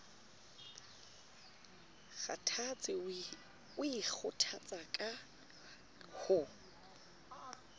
kgathatse o ikgothatsa ka ho